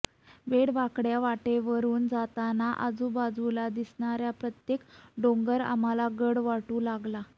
वेडयावाकडया वाटेवरून जाताना आजूबाजूला दिसणारा प्रत्येक डोंगर आम्हाला गड वाटू लागला